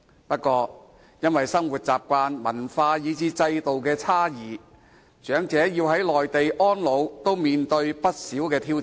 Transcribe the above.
不過，因為生活習慣、文化及制度等的差異，長者在內地安老，要面對不少挑戰。